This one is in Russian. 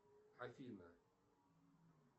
афина